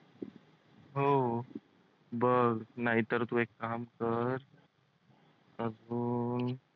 हो बघ नाहीतर तू एक काम कर